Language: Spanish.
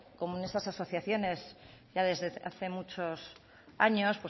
como en estas asociaciones ya desde hace muchos años